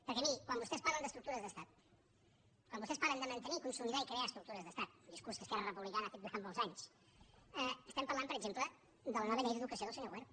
perquè miri quan vostès parlen d’ estructures d’estat quan vostès parlen de mantenir consolidar i crear estructures d’estat un discurs que esquerra republicana ha fet durant molts anys estem parlant per exemple de la nova llei d’educació del senyor wert